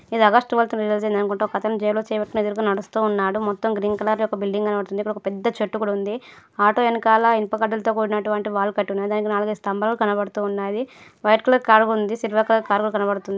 ఇది August month release అయింది అనుకుంటా. ఒకతను జేబులో చేయి పెట్టుకొని ఎదురుగా నడుస్తున్నాడు. మొత్తం గ్రీన్ కలర్ లో ఒక బిల్డింగ్ కనబడుతుంది. ఇక్కడ ఒక పెద్ద చెట్టు కూడా ఉంది. ఆటో వెనకాల ఇనుప కడ్డిలతో కూడినటువంటి వాల్ కట్టి ఉన్నది దానికి నాలుగైదదు స్తంభాలు కూడా కనపడుతున్నాయి. వైట్ కలర్ కారు కూడా ఉంది. సిల్వర్ కలర్ కార్ కూడా కనబడుతుంది.